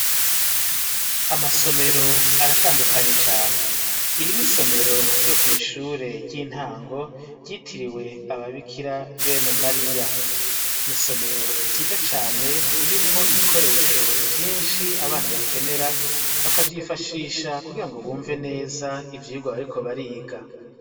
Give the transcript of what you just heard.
amasomero aratandukanye cane iri n'isomero ryo kwishure ry'intango ryitiriwe ababikira bene mariya n'isomero ryiza cane ririmwo ibikoresho vyinshi abana bakenera bakavyifashisha kugira ngo bumve neza ivyigwa bariko bariga